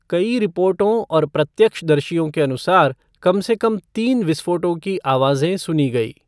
कई रिपोर्टों और प्रत्यक्ष दर्शियों के अनुसार, कम से कम तीन विस्फोटों की आवाजें सुनी गई।